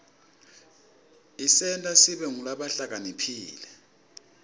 isenta sibe ngulabahlakaniphile